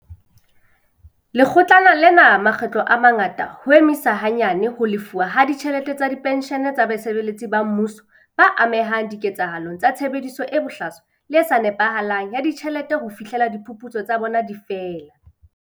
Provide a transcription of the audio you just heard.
Lekgotlana lena makgetlo a mangata ho emisa hanyane ho lefuwa ha ditjhelete tsa penshene tsa basebeletsi ba mmuso ba amehang diketsahalong tsa tshebediso e bohlaswa le e sa nepahalang ya ditjhelete ho fihlela diphuputso tsa bona di fela.